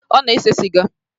Ọ na-ese sịga